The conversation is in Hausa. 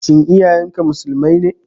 Shin iyayen ka Musulmai ne?